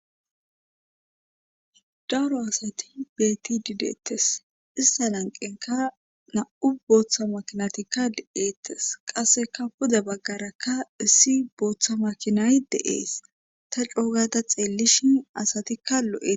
daro asati beetti dideettes ista lanqenka na7u booththa makinatikka de7eettes qasseka hoda baggarakka issi booththa makinay de7ees ta coogata xeellishin asatikka lo7ee